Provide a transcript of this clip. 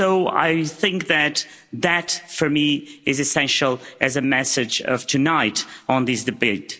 I think that that, for me, is essential as a message of tonight on this debate.